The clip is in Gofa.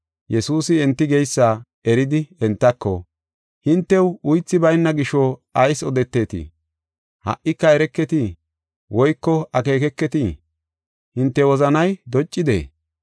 Yesuusi enti geysa eridi entako, “Hintew uythi bayna gisho ayis odeteetii? Ha77ika ereketii? Woyko akeekeketii? Hinte wozanay doccidee?